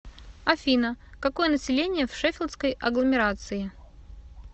афина какое население в шеффилдской агломерации